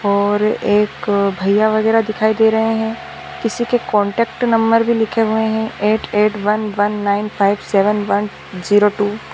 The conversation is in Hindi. और एक भैया वगैरा दिखाई दे रहे हैं किसी के कॉन्टेक्ट नंबर भी लिखे हुए हैं eight eight one one nine five seven one zero two.